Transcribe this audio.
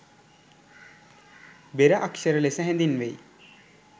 බෙර අක්ෂර ලෙස හැදින්වෙයි